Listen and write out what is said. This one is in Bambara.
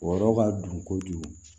Wɔrɔ ka don kojugu